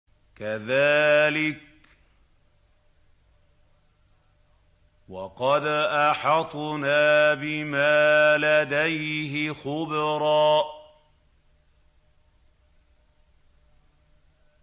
كَذَٰلِكَ وَقَدْ أَحَطْنَا بِمَا لَدَيْهِ خُبْرًا